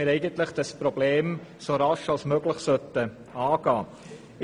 Wir denken, dass wir dieses Problem so rasch als möglich angehen sollten.